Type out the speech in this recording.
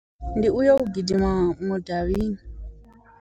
Ndi uyo gidima mudavhini.